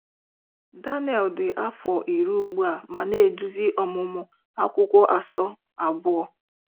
Daniel dị afọ iri ugbu a ma na-eduzi ọmụmụ Akwụkwọ asọ abụọ.